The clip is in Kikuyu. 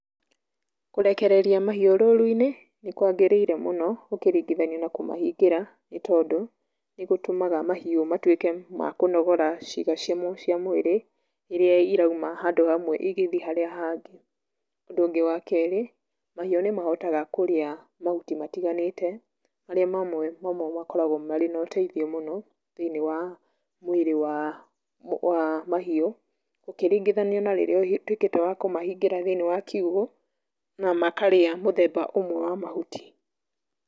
Kũrekereria mahiũ rũru-inĩ nĩkwagĩrĩire mũno ũkĩringithania na kũmahingĩra, nĩ tondũ nĩgũtũmaga mahiũ matuĩke ma kũnogora ciĩga cia mwĩrĩ ĩrĩa irauma handũ hamwe igĩthiĩ harĩa hangĩ. Ũndũ ũngĩ wa kerĩ, mahiũ nĩmahotaga kũrĩa mahuti matiganĩte marĩa mamwe makoragwo mena ũteithio mũno thĩiniĩ wa mwĩrĩ wa mahiũ, ũkĩringithania na rĩrĩa ũtuĩkĩte wa kũmahingĩra thĩiniĩ wa kiugo na makarĩa mũthemba ũmwe wa mahuti.